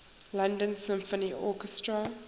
london symphony orchestra